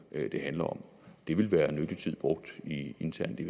det handler om ville være nyttig tid brugt internt i